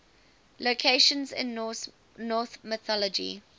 locations in norse mythology